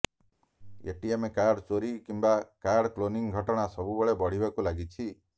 ATM card ଚୋରି କିମ୍ବା card cloning ଘଟଣା ସବୁବେଳେ ବଢ଼ିବାକୁ ଲାଗିଛି